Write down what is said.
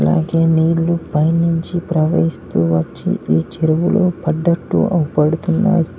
అలాగే నీళ్లు పైనుంచి ప్రవహిస్తూ వచ్చింది చెరువులో పడ్డట్టు అవుపడుతున్నారు.